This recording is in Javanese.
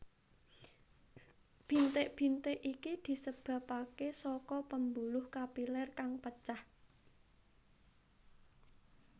Bintik bintik iki disebabake saka pembuluh kapiler kang pecah